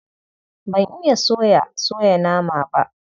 Ban iya soya soya nama ba.